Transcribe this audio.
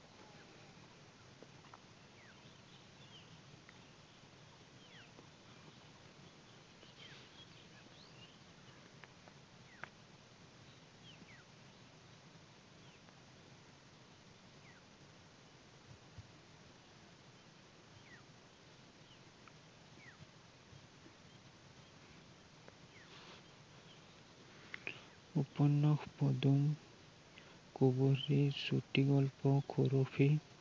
উপন্যস পদুম, কোৱলি, চুটি গল্প সুৰভি